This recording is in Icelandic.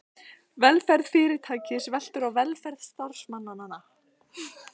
Velferð fyrirtækis veltur á velferð starfsmannanna.